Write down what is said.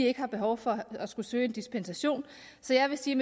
ikke har behov for at skulle søge en dispensation så jeg vil sige